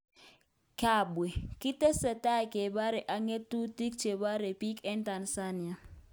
Kabwe: Kitesetai kebarye ak ng'atutik che bare biik eng Tanzania